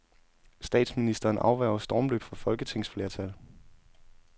Statsministeren afværger stormløb fra folketingsflertal.